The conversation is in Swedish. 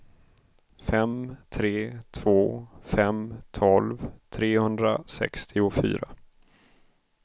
fem tre två fem tolv trehundrasextiofyra